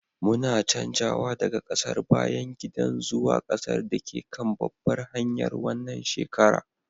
muna canjawa daga ƙasar bayan gidan zuwa ƙasar da ke kan babbar hanyar wannan shekara